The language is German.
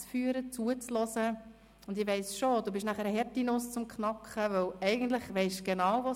In den Kommissionen und für die Regierungsräte geht die Arbeit noch weiter, denn offiziell endet die Legislatur erst am 31. Mai 2018.